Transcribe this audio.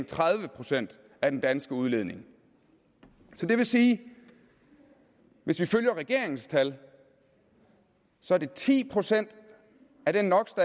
tredive procent af den danske udledning det vil sige at hvis vi følger regeringens tal så er det ti procent